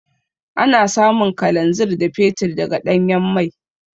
Ana samun Kalanzir da Fetur daga Ɗanyan mai.